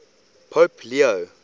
pope leo